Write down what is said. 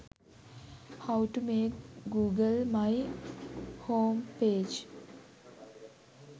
how to make google my homepage